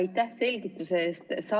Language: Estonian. Aitäh selgituse eest!